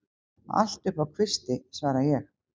Allt upp að kvisti, svara ég.